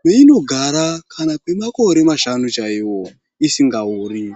mweinogara ,kana kwemakore mashanu chaiwo ,isingaori.